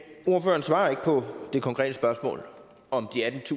snakker om